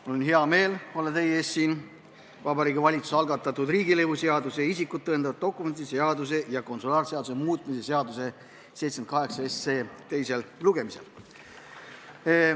Mul on hea meel olla teie ees siin Vabariigi Valitsuse algatatud riigilõivuseaduse, isikut tõendavate dokumentide seaduse ja konsulaarseaduse muutmise seaduse 78 teisel lugemisel.